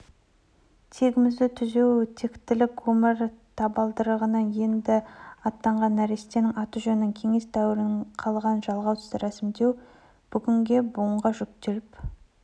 тегімізді түзеу тектілік өмір табалдырығынан енді аттағаннәрестенің аты-жөнін кеңес дәуірінен қалған жалғаусыз рәсімдеу бүгінге буынға жүктеліп